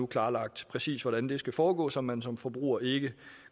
klarlagt præcis hvordan det skal foregå så man som forbruger ikke